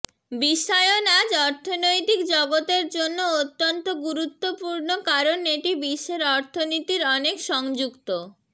বিশ্বায়ন আজ অর্থনৈতিক জগতের জন্য অত্যন্ত গুরুত্বপূর্ণ কারণ এটি বিশ্বের অর্থনীতির অনেক সংযুক্ত